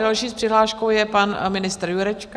Další s přihláškou je pan ministr Jurečka.